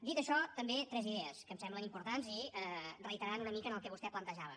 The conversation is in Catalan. dit això també tres idees que em semblen importants i reiteren una mica el que vostè plantejava